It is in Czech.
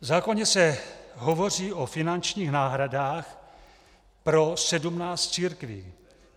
V zákoně se hovoří o finančních náhradách pro sedmnáct církví.